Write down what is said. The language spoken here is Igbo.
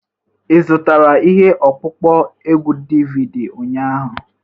Ị zụtara ihe ọkpụkpọ egwu DVD ụnyaahụ?